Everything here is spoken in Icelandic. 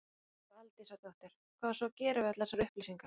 Lóa Aldísardóttir: Hvað á svo að gera við allar þessar upplýsingar?